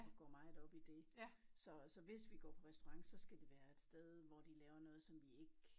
Og går meget op i dét så så hvis vi går på restaurant så skal det være et sted hvor de laver noget som vi ik